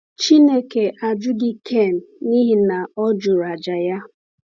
Chineke ajụghị Kain n’ihi na ọ jụrụ àjà ya.